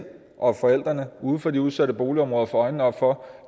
og at forældrene uden for de udsatte boligområder får øjnene op for